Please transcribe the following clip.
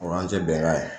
O y'an tɛ bɛnkan ye